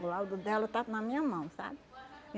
O laudo dela está na minha mão, sabe?